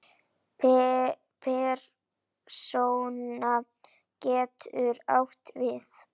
Persóna getur átt við